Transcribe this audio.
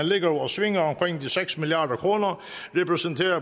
ligger og svinger omkring de seks milliard kr repræsenterer